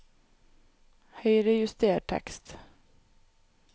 Høyrejuster tekst